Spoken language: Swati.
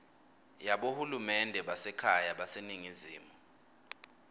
yabohulumende basekhaya baseningizimu